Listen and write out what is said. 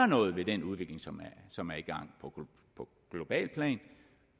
noget ved den udvikling som som er i gang på globalt plan